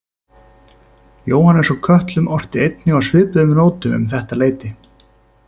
Jóhannes úr Kötlum orti einnig á svipuðum nótum um þetta leyti.